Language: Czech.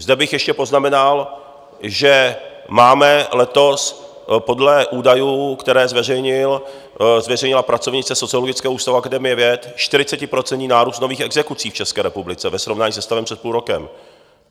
Zde bych ještě poznamenal, že máme letos podle údajů, které zveřejnila pracovnice Sociologického ústavu Akademie věd, 40% nárůst nových exekucí v České republice ve srovnání se stavem před půl rokem.